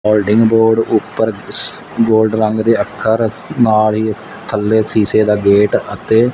holding board ਉਪਰ gold ਰੰਗ ਦੇ ਅੱਖਰ ਨਾਲ ਹੀ ਥੱਲੇ ਸ਼ੀਸ਼ੇ ਦਾ ਗੇਟ ਅਤੇ--